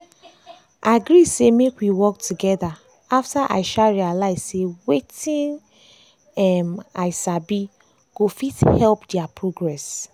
i agree say make we work together after i um realize say wetin um i um sabi go fit help their progress.